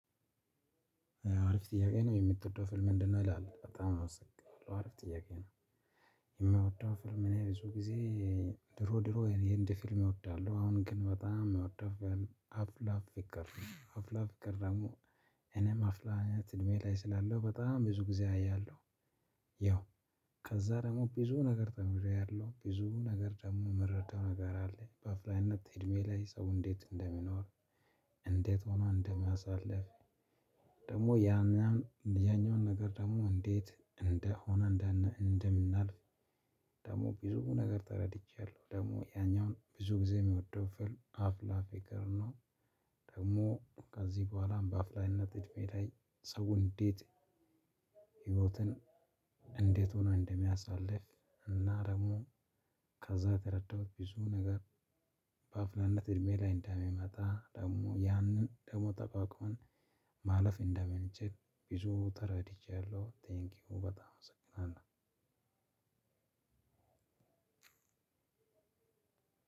አሪፍ ጥያቄ ነው የምትወደው ፊልም ምንድነው? ይላል በጣም አውሰቅኩኝ አሪፍ ጥያቄ ነው። የምወደው ፊልም እኔ ብዙ ጊዜ ድሮ ድሮ የህንድ ፊልም እወዳለሁ አሁን ግን በጣም የሚወደው አፍ ፍቅር አፍላ ፍቅር ደግሞ እኔም አፍላኝነት እድሜ ላይ ስላለው በጣም ብዙ ጊዜ አያለሁ። ያው ከዛ ደግሞ ብዙ ነገር ደግሞ ያለው ብዙ ነገር ደግሞ የምረዳው ነገር አለ በአፋላነት እድሜ ላይ ሰው እንዴት እንደሚኖር። እንዴት ሆኖ እንደሚያሳልፍ። ደግሞ ያም ያም ያኛውን ነገር ደግሞ እንዴት እንደሆነ እንደምናልፍ። ደግሞ ብዙ ነገር ተረድቻለሁ። ደግሞ ያኛውን ብዙ ጊዜ የሚወደው ፊልም አፍላ ፍቅር። ደግሞ ከዚህ በኋላም በአፍላነት እድሜ ላይ ሰው እንዴት ህይወትን እንዴት ሆኖ እንደሚያሳልፍ እና ደግሞ ከዛ የተረዳሁት ብዙ ነገር። በአፍላነት እድሜ ላይ እንደሚመጣ ደግሞ ያንን ደግሞ ጠቋቁን ማለፍ እንደምንችል ብዙ ተረድቻለሁ። ቴንኪው በጣም አመሰግናለሁ።